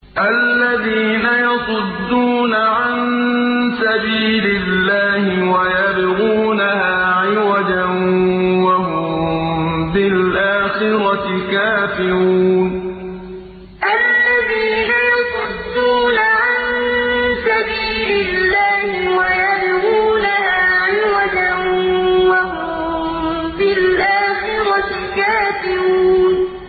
الَّذِينَ يَصُدُّونَ عَن سَبِيلِ اللَّهِ وَيَبْغُونَهَا عِوَجًا وَهُم بِالْآخِرَةِ كَافِرُونَ الَّذِينَ يَصُدُّونَ عَن سَبِيلِ اللَّهِ وَيَبْغُونَهَا عِوَجًا وَهُم بِالْآخِرَةِ كَافِرُونَ